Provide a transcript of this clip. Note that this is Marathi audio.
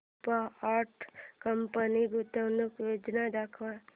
रुपा अँड कंपनी गुंतवणूक योजना दाखव